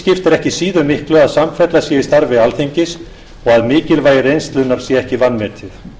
ekki síður miklu að samfella sé í starfi alþingis og að mikilvægi reynslunnar sé ekki vanmetið